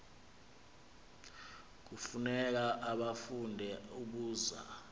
kufuneka ubafunde ubazi